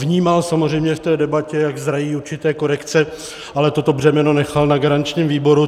Vnímal samozřejmě v té debatě, jak zrají určité korekce, ale toto břemeno nechal na garančním výboru.